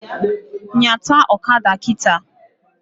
Nyata ọkada kịta!